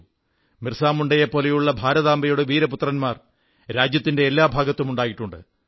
ബിർസാ മുണ്ടയെപ്പോലുള്ള ഭാരതാംബയുടെ വീരപുത്രന്മാർ രാജ്യത്തിന്റെ എല്ലാ ഭാഗത്തും ഉണ്ടായിട്ടുണ്ട്